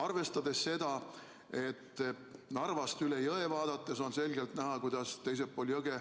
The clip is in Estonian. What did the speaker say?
Arvestades seda, et Narvast üle jõe vaadates on selgelt näha, kuidas teisel pool jõge